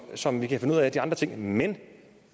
som vi kan finde ud af de andre ting men